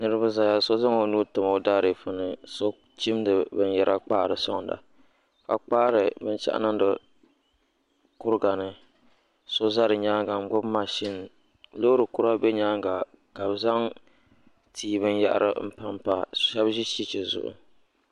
Niriba zaya so zaŋ o nuu tim o daadifu ni so chimdi binyɛra kpaari sɔŋda ka kpaari binshɛɣu niŋdi kuriga ni so za di ni nyaaŋa m-gbubi mashini loori kura be nyaaŋa ka bɛ za tii binyɛhiri m-pampa ka shɛba ʒi cheche zuɣu